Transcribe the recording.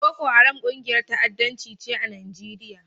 Boko Haram ƙungiyar ta'addanci ce a Nijeriya.